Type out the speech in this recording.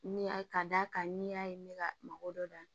Ni a ka d'a kan n'i y'a ye ne ka mako dɔ dan